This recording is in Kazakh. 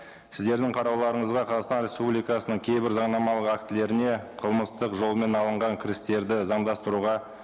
сіздердің қарауларыңызға қазақстан республикасының кейбір заңнамалық актілеріне қылмыстық жолмен алынған кірістерді заңдастыруға